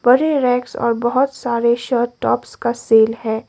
बड़े रैक्स और बहुत सारे शर्ट टॉप्स का सेल है।